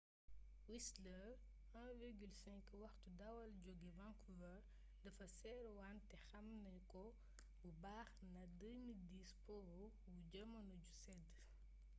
whistler 1.5 waxtu dawal jóge vancouver dafa seer wante xam nanu ko bu baax nda 2010 po wu jamono ju sedd